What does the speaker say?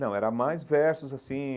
Não, era mais versos assim,